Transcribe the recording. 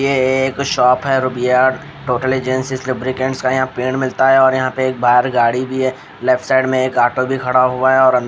ये एक शॉप है रूबिया टोटल एजेंसीस लुब्रिकेंट्स का यहाँ पेड़ मिलता है और यहाँ पे एक बाहर गाड़ी भी है लेफ्ट साइड में एक ऑटो भी खड़ा हुआ है और अं--